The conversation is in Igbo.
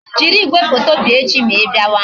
Jiri igwefoto bịa echi ma I bịawa